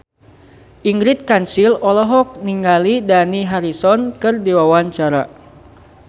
Ingrid Kansil olohok ningali Dani Harrison keur diwawancara